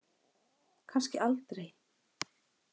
Kannski aldrei.